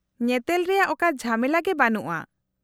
-ᱧᱮᱛᱮᱞ ᱨᱮᱭᱟᱜ ᱚᱠᱟ ᱡᱷᱟᱢᱮᱞᱟ ᱜᱮ ᱵᱟᱹᱱᱩᱜᱼᱟ ᱾